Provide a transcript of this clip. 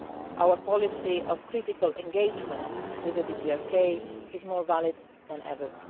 did. Our policy of critical engagement with the DPRK is more valid than